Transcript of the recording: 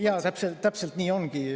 Jaa, täpselt nii ongi.